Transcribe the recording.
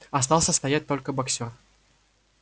остался стоять только боксёр